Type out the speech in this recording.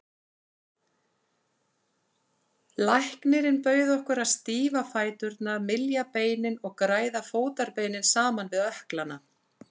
Læknirinn bauð okkur að stífa fæturna, mylja beinin og græða fótarbeinin saman við ökklana.